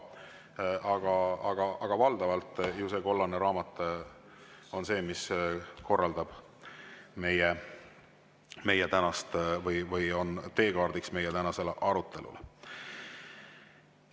Valdavalt on ju see kollane raamat see, mis korraldab meie tänast või on teekaardiks meie tänasele arutelule.